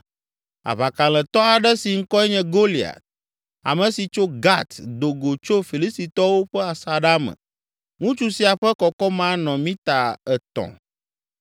Aʋakalẽtɔ aɖe si ŋkɔe nye Goliat, ame si tso Gat do go tso Filistitɔwo ƒe asaɖa me. Ŋutsu sia ƒe kɔkɔme anɔ mita etɔ̃.